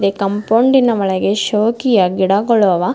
ಕಂಪೌಂಡಿನ ಒಳಗಡೆ ಶೋಕಿಯ ಗಿಡಗಳು ಅವ.